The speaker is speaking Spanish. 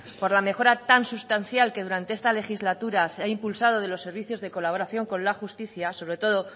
por la mejora tan sustancial que durante esta legislatura se ha impulsado de los servicio de colaboración con la justicia sobre todo